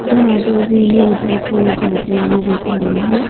जहां पर जीनें ऊपर की ओर जाते हुए दिख रहे हैं।